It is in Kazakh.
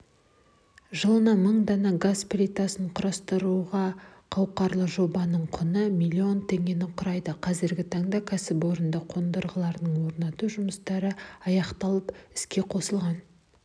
жылына мың дана газ плитасын құрастыруғақауқарлы жобаның құны млн теңгені құрайды қазіргі таңда кәсіпорында қондырғыларды орнату жұмыстары аяқталып іске қосылған